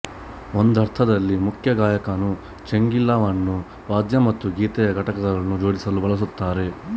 ಒಂದರ್ಥದಲ್ಲಿ ಮುಖ್ಯ ಗಾಯಕನು ಚೆಂಗಿಲವನ್ನು ವಾದ್ಯ ಮತ್ತು ಗೀತೆಯ ಘಟಕಗಳನ್ನು ಜೋಡಿಸಲು ಬಳಸುತ್ತಾರೆ